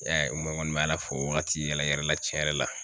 I y'a ye n kɔni bɛ ALA fo o wagati yɛrɛ yɛrɛ la tiɲɛ yɛrɛ la.